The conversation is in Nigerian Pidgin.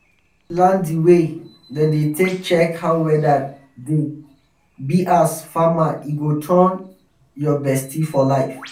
once you learn di way dem dey take check how weather dey be as farmer e go turn your bestie for liife